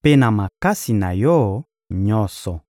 mpe na makasi na yo nyonso.